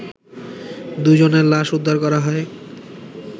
দুই জনের লাশ উদ্ধার করা হয়